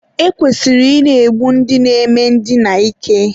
e kwesịrị ị na-egbu ndị na-eme ndina ike.